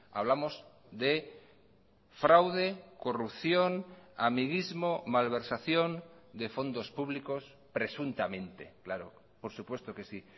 hablamos de fraude corrupción amiguismo malversación de fondos públicos presuntamente claro por supuesto que sí